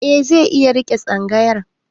Eh zai iya riƙe tsangayar.